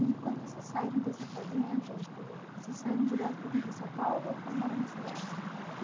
E quando vocês saíram dessa fazenda, eh vocês saíram direto para vim para São Paulo ou foram morar na cidade?